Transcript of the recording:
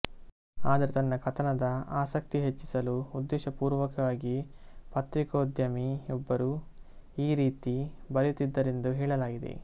ಆದರೆ ತನ್ನ ಕಥನ ದ ಆಸಕ್ತಿ ಹೆಚ್ಚಿಸಲು ಉದ್ದೇಶಪೂರ್ವಕವಾಗಿ ಪತ್ರಿಕೋದ್ಯಮಿಯೊಬ್ಬರು ಈ ರೀತಿ ಬರೆಯುತ್ತಿದ್ದರೆಂದು ಹೇಳಲಾಗಿದೆ